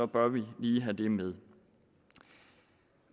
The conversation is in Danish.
bør vi have det med